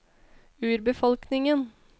urbefolkningen